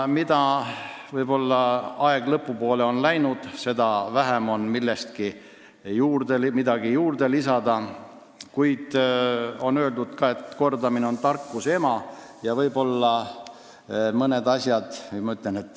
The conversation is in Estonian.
Mida rohkem arutelu lõpu poole, seda vähem on midagi lisada, kuid on öeldud ka, et kordamine on tarkuse ema: ma siiski räägin mõnest asjast.